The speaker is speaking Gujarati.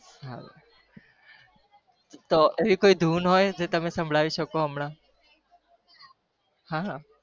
હા એવી કોઈ ધૂન હોય જે તમે સંભળાવી શકો હમણાં